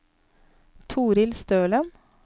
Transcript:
Toril Stølen